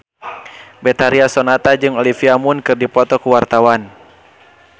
Betharia Sonata jeung Olivia Munn keur dipoto ku wartawan